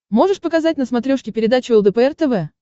можешь показать на смотрешке передачу лдпр тв